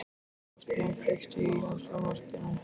Hrafnar, kveiktu á sjónvarpinu.